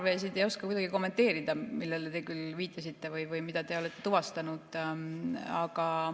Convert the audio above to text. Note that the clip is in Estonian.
Ma ei oska kuidagi kommenteerida neid parvesid, millele te viitasite või mida te olete tuvastanud.